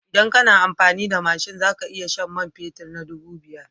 Idan kana amfani da mashin za ka iya shan man fetur na dubu biyu.